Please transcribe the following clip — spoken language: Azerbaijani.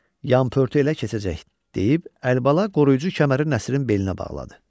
Yan pörtü elə keçəcək, deyib Əlibala qoruyucu kəməri Nəsirin belinə bağladı.